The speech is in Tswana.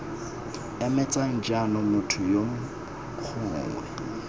emetseng jaanong motho yo gongwe